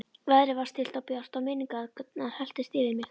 Veðrið var stillt og bjart og minningarnar helltust yfir mig.